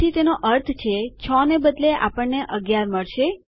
જેથી તેનો અર્થ છે૬ને બદલે આપણને ૧૧ મળશે